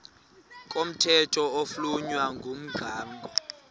komthetho oflunwa ngumgago